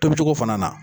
Tobicogo fana na